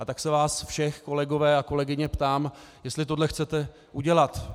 A tak se vás všech, kolegyně a kolegové, ptám, jestli tohle chcete udělat.